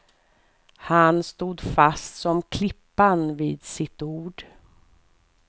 Han stod fast som klippan vid sitt ord.